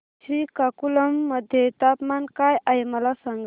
श्रीकाकुलम मध्ये तापमान काय आहे मला सांगा